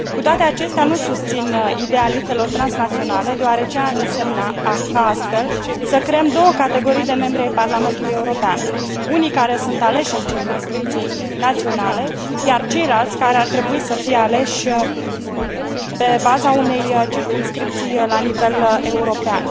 Cu toate acestea, nu susțin ideea listelor transnaționale, deoarece ar însemna ca, astfel, să creăm două categorii de membri ai Parlamentului European unii care sunt aleși în circumscripții naționale, iar ceilalți, care ar trebui să fie aleși pe baza unei circumscripții la nivel european.